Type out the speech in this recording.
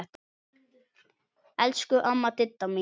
Elsku amma Didda mín.